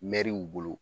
Mɛriw bolo